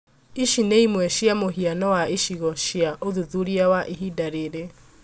Ici nĩ ĩmwe cia mũhiano wa icigo cia ũthuthuria wa ihinda rĩrĩ